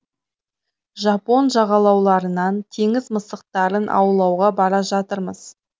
жапон жағалауларынан теңіз мысықтарын аулауға бара жатырмыз